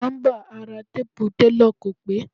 Nọ́mbà ara téèpu telọ̀ kò pé.